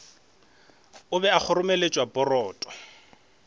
a be a kgoromeletša poroto